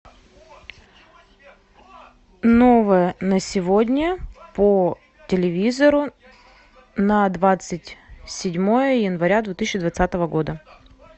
новое на сегодня по телевизору на двадцать седьмое января две тысячи двадцатого года